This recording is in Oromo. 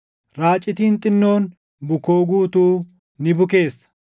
“Raacitiin xinnoon bukoo guutuu ni bukeessa.”